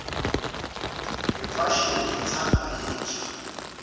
imfashini itsandvwa yinsha